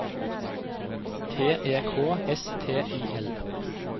T E K S T I L